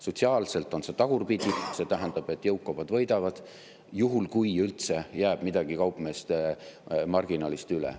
Sotsiaalselt oleks selle mõju tagurpidine: see tähendab, et jõukamad võidaksid, juhul kui üldse jääks midagi kaupmeeste marginaalist üle.